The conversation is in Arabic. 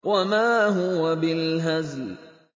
وَمَا هُوَ بِالْهَزْلِ